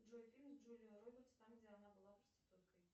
джой фильм с джулией робертс там где она была проституткой